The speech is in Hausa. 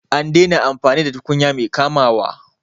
An daina amfani da tukunya mai kamawa